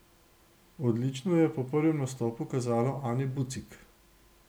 Odlično je po prvem nastopu kazalo Ani Bucik.